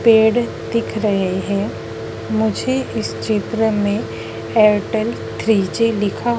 पेड़ दिख रहे हैं मुझे इस चित्र में एयरटेल थ्री जी लिखा--